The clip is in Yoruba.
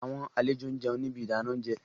Awọn alejo n jẹun ni ibi idana ounjẹ